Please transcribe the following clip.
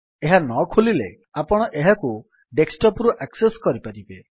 ଏହା ନ ଖୋଲିଲେ ଆପଣ ଏହାକୁ ଡେସ୍କଟପ୍ ରୁ ଆକ୍ସେସ୍ କରିପାରିବେ